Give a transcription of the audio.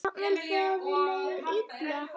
Jafnvel þegar þér leið illa.